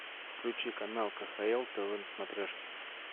включи канал кхл тв на смотрешке